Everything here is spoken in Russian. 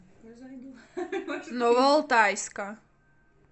новоалтайска